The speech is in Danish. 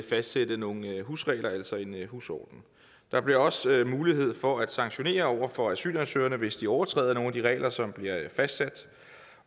fastsætte nogle husregler altså en husorden der bliver også mulighed for at sanktionere over for asylansøgerne hvis de overtræder nogle af de regler som bliver fastsat